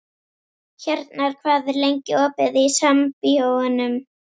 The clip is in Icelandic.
Hjarnar, hvað er lengi opið í Sambíóunum?